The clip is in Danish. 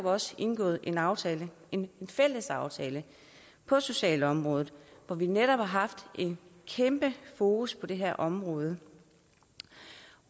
også indgået en aftale en fælles aftale på socialområdet hvor vi netop har haft en kæmpe fokus på det her område